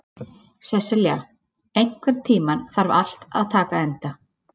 Sesselja, einhvern tímann þarf allt að taka enda.